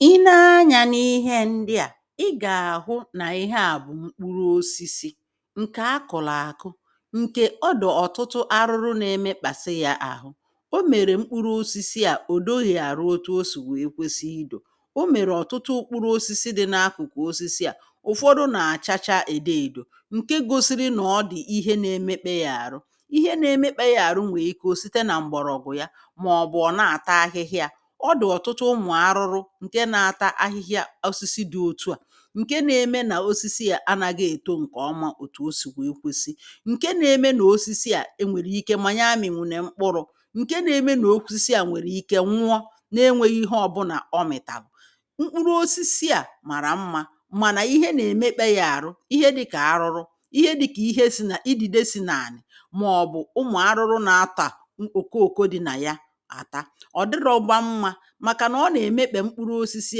I nee anya n’ihe ndị a, i ga-ahụ na ihe a bụ̀ mkpụrụ ọsisi ǹke a kụlụ akụ ǹke ọ dị̀ ọ̀tụtụ arụrụ na-emekpasị ya ahụ. Ọ mere mkpụrụ ọsisi a, ọ̀ dọghị̇ arụ ọtụ ọ sì wee kwesị idọ̇. Ọ mere ọ̀tụtụ ụkpụrụ ọsisi dị̇ n’akụ̀kụ̀ ọsisi a, ụ̀fọdụ na-achacha edọ edọ nke gọsiri na ọ dị̀ ihe na-emekpe ya arụ. Ihe na-emekpe ya arụ nwe ike ọ site na mgbọ̀rọ̀gwụ̀ ya maọbụ ọ na-ata ahịhịa, ọ di ọtụtụ ụmụ arụrụ nke na-ata ahịhịa ọsisi dị̇ ọ̀tụ a, ǹke na-eme na ọsisi a anagi etọ ǹke ọma ọ̀tù ọsì wee kwesị ǹke na-eme na ọsisi a e nwere ike ma ya amị̀wụ̀ ne mkpụrụ̇ ǹke na-eme na ọsisi a nwere ike nwụọ na enwėghi ihe ọ̀bụna ọ mị̀talụ̀. Mkpụrụ ọsisi a mara mma mana ihe na-emekpe ya arụ ihe dị ka arụrụ, ihe dị ka ihe si na idìde si n’anị maọ̀bụ̀ ụmụ̀ arụrụ na-ata ọ̀kọ ọ̀kọ dị na ya ata. Ọdirọgba mma, maka na ọ na-emekpe mkpụrụ̇ ọsisi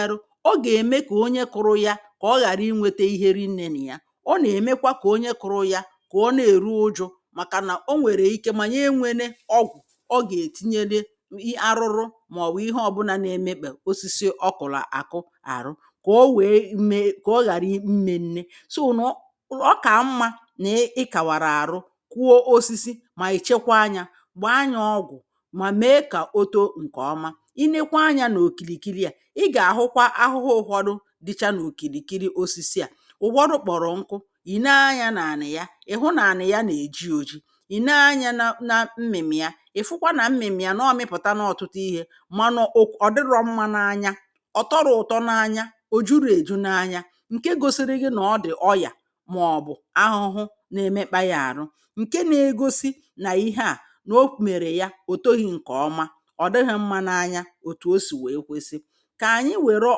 arụ, ọ ga-eme ka ọnye kụrụ ya ka ọ ghara inwėtė ihe rinnė na ya ọ na-emekwa ka ọnye kụrụ ya ka ọ na-erụ ụjụ̇ maka na ọ nwere ike ma nyee enwene ọgwụ̀ ọ ga-etinyele i arụrụ maọ̀bụ̀ ihe ọ̀bụna na-emekpe ọsisi ọkụ̀lu akụ arụ ka ọ wee mee ka ọ ghara i mmennė n'ọ ọ ka mma na e ị kawara arụ kụọ ọsisi ma echekwa anya gba anya ọgwụ̀ ma mee ka ọtọ ǹke ọma. I nekwa anya n'ọkirikiri a ị ga-ahụkwa ahụhụ ụhọdụ dicha n’ọ̀kìrìkiri ọsisi a ụhọdụ kpọ̀rọ̀ nkụ ì nee anya na ani ya ị̀ hụ na ani ya na-eji ọji ì nee anya na na mmịmi ya ị̀ fụkwa na mmịmi ya n’ọmịpụ̀ta na ọtụtụ ihė manọọ ọ dịrọ mma na anya ọ̀ tọrọ ụ̀tọ n’anya ọ̀ jụro ejụ n’anya ǹke gọsiri gị na ọ dị̀ ọya maọbụ̀ ahụhụ na-emekpa ya arụ ǹke na-egọsi na ihe a n’ọ mere ya ọ tọghị̇ ǹke ọma, ọdighi mma na anya, ọtụ osi wee kwesi. Ka anyị were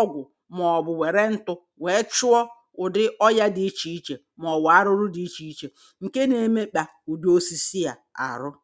ọgwụ maọ̀bụ̀ were ntụ̇ wee chụọ ụ̀dị ọya dị iche iche maọ̀bụ̀ arụrụ dị icheiche ǹke na-emekpa ụ̀dị ọsisi a arụrụ